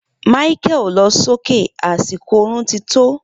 Micheal lo so ke, asiko orun ti tó